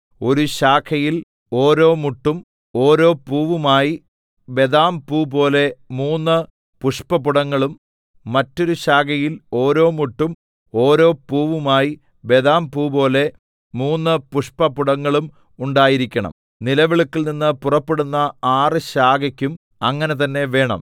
ഒരു ശാഖയിൽ ഓരോ മുട്ടും ഓരോ പൂവുമായി ബദാംപൂപോലെ മൂന്ന് പുഷ്പപുടങ്ങളും മറ്റൊരു ശാഖയിൽ ഓരോ മുട്ടും ഓരോ പൂവുമായി ബദാംപൂപോലെ മൂന്ന് പുഷ്പപുടങ്ങളും ഉണ്ടായിരിക്കണം നിലവിളക്കിൽനിന്ന് പുറപ്പെടുന്ന ആറ് ശാഖയ്ക്കും അങ്ങനെ തന്നെ വേണം